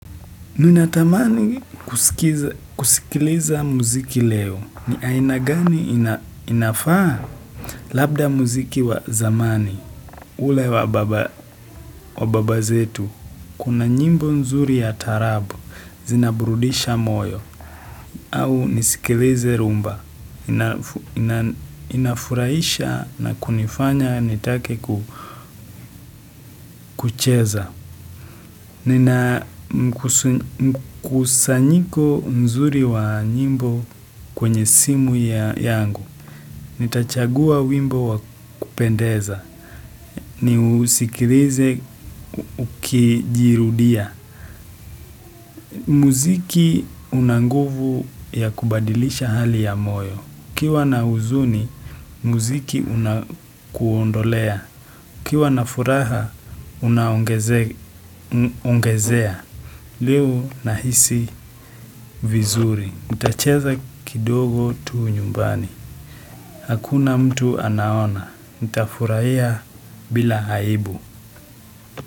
Ninatamani kusikiliza muziki leo ni aina gani inafaa labda muziki wa zamani ule wa baba zetu. Kuna nyimbo nzuri ya taarabu zinaburudisha moyo au nisikilize rhumba inafurahisha na kunifanya nitake kucheza. Nina mkusanyiko mzuri wa nyimbo kwenye simu ya yangu. Nitachagua wimbo wa kupendeza. Ni usikilize ukijirudia. Muziki unanguvu ya kubadilisha hali ya moyo. UKiwa na huzuni, muziki unakuondolea. UKiwa na furaha, unaongezea. Leo nahisi vizuri, nitacheza kidogo tu nyumbani, hakuna mtu anaona, nita furahia bila aibu.